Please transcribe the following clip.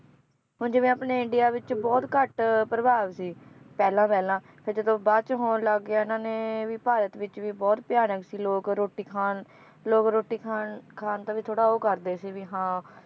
ਹੁਣ ਜਿਵੇ ਆਪਣੇ ਇੰਡੀਆ ਵਿਚ ਬਹੁਤ ਘੱਟ ਪ੍ਰਭਾਵ ਸੀ, ਪਹਿਲਾਂ ਪਹਿਲਾਂ ਫਿਰ ਜਦੋ ਬਾਅਦ ਚ ਹੋਣ ਲੱਗ ਗਿਆ ਇਹਨਾਂ ਨੇ, ਵੀ ਭਾਰਤ ਵਿਚ ਵੀ ਬਹੁਤ ਭਯਾਨਕ ਸੀ ਲੋਕ ਰੋਟੀ ਖਾਣ ਲੋਗ ਰੋਟੀ ਖਾਣ ਖਾਣ ਤੋਂ ਵੀ ਥੋੜਾ ਉਹ ਕਰਦੇ ਸੀ ਵੀ ਹਾਂ